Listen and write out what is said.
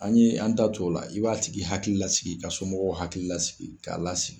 An ye an da t'o la i b'a tigi hakili lasigi ka somɔgɔw hakili lasigi k'a lasigi.